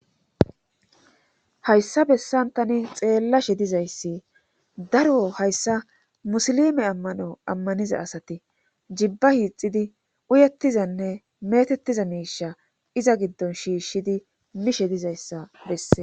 hayssa bessan tani xeellashe dizayssi daro hayssa musilime ammano ammaniza asati jibba hiixidi uyettizanne metettiza miisha iza giddon shiishshidi mishe dizayssa besses